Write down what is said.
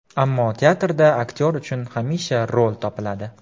Ammo teatrda aktyor uchun hamisha rol topiladi.